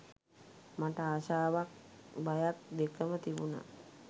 මට ආසාවත් බයක් දෙකම තිබුණා.